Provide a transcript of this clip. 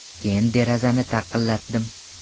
Keyin derazani taqillatdim.